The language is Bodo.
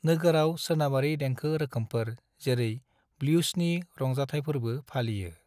नोगोराव सोनाबारि देंखो रोखोमफोर जेरै ब्लूसनि रंजाथायफोरबो फालियो।